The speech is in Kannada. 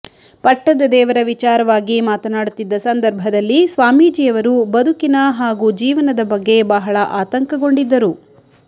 ಪಟ್ಟದ ದೇವರ ವಿಚಾರವಾಗಿ ಮಾತನಾಡುತ್ತಿದ್ದ ಸಂದರ್ಭದಲ್ಲಿ ಸ್ವಾಮೀಜಿಯವರು ಬದುಕಿನ ಹಾಗೂ ಜೀವನದ ಬಗ್ಗೆ ಬಹಳ ಆತಂಕಗೊಂಡಿದ್ದರು